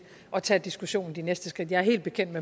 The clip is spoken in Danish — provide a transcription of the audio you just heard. at tage diskussionen og de næste skridt jeg er helt bekendt